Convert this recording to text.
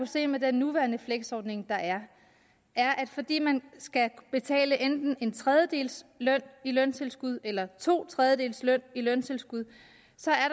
se med den nuværende fleksordning er at fordi man skal betale enten en tredjedel løn i løntilskud eller to tredjedele løn i løntilskud